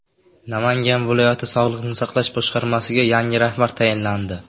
Namangan viloyati sog‘liqni saqlash boshqarmasiga yangi rahbar tayinlandi.